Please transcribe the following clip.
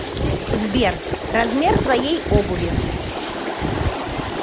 сбер размер твоей обуви